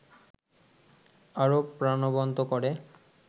আরো প্রাণবন্ত করে